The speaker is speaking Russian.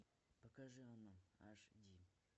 покажи оно аш ди